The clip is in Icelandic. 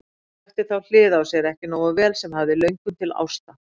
Hún þekkti þá hlið á sér ekki nógu vel sem hafði löngun til ásta.